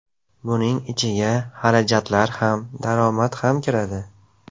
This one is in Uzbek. Buning ichiga xarajatlar ham, daromad ham kiradi.